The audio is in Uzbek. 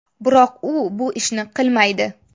Biroq u bu ishni qilmaydi.